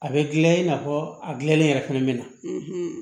A bɛ gilan i n'a fɔ a gilanni yɛrɛ fɛnɛ be na